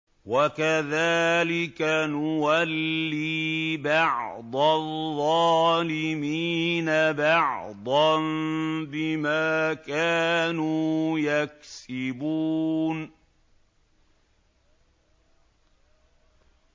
وَكَذَٰلِكَ نُوَلِّي بَعْضَ الظَّالِمِينَ بَعْضًا بِمَا كَانُوا يَكْسِبُونَ